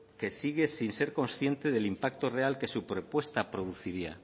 que sigue sin ser consciente del impacto real que su propuesta produciría